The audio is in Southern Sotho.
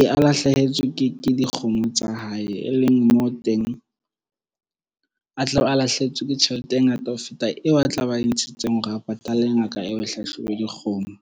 e a lahlehetswe ke dikgomo tsa hae e leng mo teng a tlabe a lahlehetswe ke tjhelete e ngata ho feta eo a tlabeng a e ntshitsweng hore a patale ngaka e hlahlobe dikgomo.